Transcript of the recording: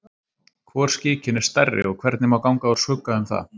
Hvor skikinn er stærri og hvernig má ganga úr skugga um það?